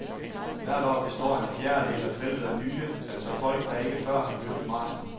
Hvert år består en fjerdedel af feltet af nye, altså folk der ikke før har løbet marathon.